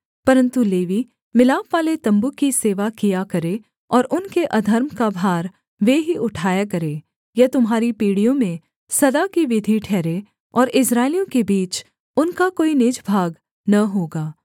परन्तु लेवी मिलापवाले तम्बू की सेवा किया करें और उनके अधर्म का भार वे ही उठाया करें यह तुम्हारी पीढ़ियों में सदा की विधि ठहरे और इस्राएलियों के बीच उनका कोई निज भाग न होगा